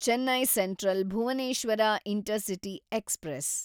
Chennai central Bhubaneswar intercity express